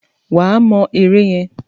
Wà á mọ ère yẹn!